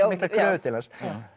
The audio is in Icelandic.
miklar kröfur til hans